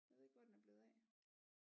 Jeg ved ikke hvor den er blevet af